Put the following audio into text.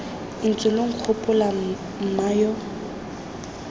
ntse lo nkgopola mma yo